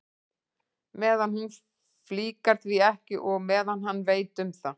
Meðan hún flíkar því ekki og meðan hann veit um það.